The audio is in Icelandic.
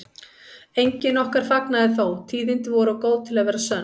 Enginn okkar fagnaði þó, tíðindin voru of góð til að vera sönn.